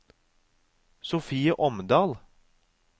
Sofie Omdal